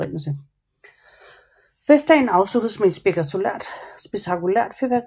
Festdagen afsluttes med et spektakulært fyrværkeri